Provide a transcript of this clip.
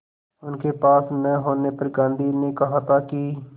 उनके पास न होने पर गांधी ने कहा था कि